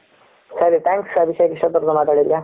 ಸರಿ thanks ಅಭಿಷೇಕ್ ಇಸ್ಟ್ ಹೊತ್ತು ವರಿಗೂ ಮಾತಾದಿದ್ಯ